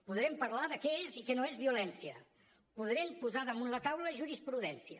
podrem parlar de què és i què no és violència podrem posar damunt la taula jurisprudència